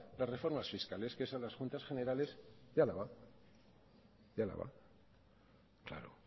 las reformas fiscales que es a las juntas generales de álava claro